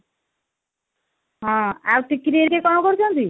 ହଁ ଆଉ ଟିକିନି ହେରିକା କଣ କରୁଛନ୍ତି ?